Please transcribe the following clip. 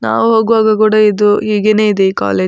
ನಾವು ಹೋಗುವಾಗ ಕೂಡ ಇದು ಹೀಗೆನೇ ಇದೆ ಈ ಕಾಲೇಜು .